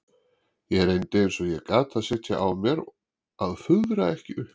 Ég reyndi eins og ég gat að sitja á mér að fuðra ekki upp.